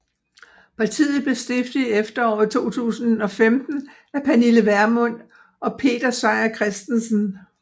Partiet blev stiftet i efteråret 2015 af Pernille Vermund og Peter Seier Christensen